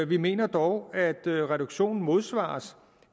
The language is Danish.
vi mener dog at reduktionen modsvares